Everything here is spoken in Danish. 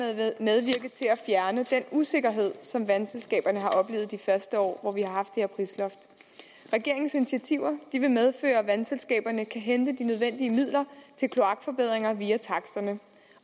usikkerhed som vandselskaberne har oplevet de første år hvor vi har haft det her prisloft regeringens initiativer vil medføre at vandselskaberne kan hente de nødvendige midler til kloakforbedringer via taksterne